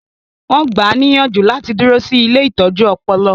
Wọn gbáà ní ìyànjú láti dúró sí ilée ìtọ́jú ọpọlọ